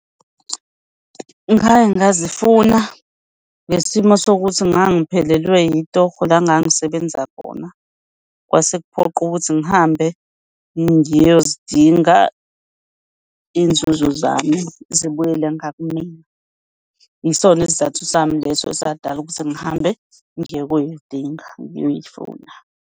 Ngake ngazifuna ngesimo sokuthi ngangiphelelwe itorho la ngangisebenza khona kwase kuphoqa ukuthi ngihambe ngiyozidinga iy'nzuzo zami zibuyele ngakumina. Yisona isizathu sami leso esadala ukuthi ngihambe ngiye kuyoyidinga, ngiyoyifuna.